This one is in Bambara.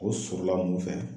O sɔrɔla mun fɛ?